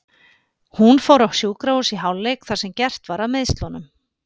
Hún fór á sjúkrahús í hálfleik þar sem gert var að meiðslunum.